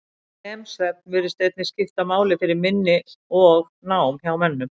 REM-svefn virðist einnig skipta máli fyrir minni og nám hjá mönnum.